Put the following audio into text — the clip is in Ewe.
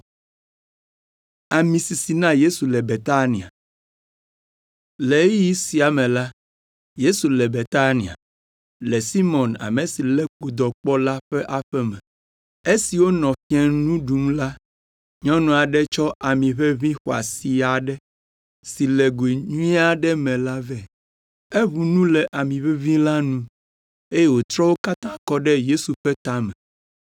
Le ɣeyiɣi sia me la, Yesu le Betania, le Simɔn ame si lé kpodɔ kpɔ la ƒe aƒe me. Esi wonɔ fiẽnu ɖum la, nyɔnu aɖe tsɔ amiʋeʋĩ xɔasi aɖe, si le goe nyui aɖe me la vɛ. Eʋu nu le amiʋeʋĩ la nu, eye wòtrɔ wo katã kɔ ɖe Yesu ƒe tame.